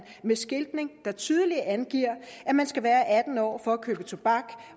med skiltning der tydeligt angiver at man skal være atten år for at købe tobak